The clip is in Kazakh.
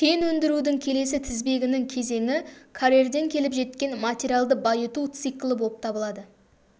кен өндірудің келесі тізбегінің кезеңі карьерден келіп жеткен материалды байыту циклі болып табылады